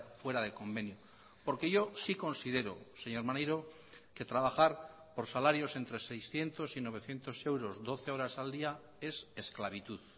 fuera de convenio porque yo sí considero señor maneiro que trabajar por salarios entre seiscientos y novecientos euros doce horas al día es esclavitud